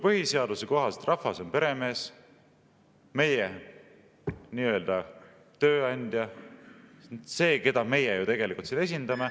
Põhiseaduse kohaselt rahvas on peremees, meie nii-öelda tööandja, see, keda meie ju tegelikult esindame.